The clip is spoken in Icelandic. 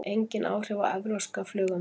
Engin áhrif á evrópska flugumferð